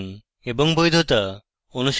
এবং বৈধতা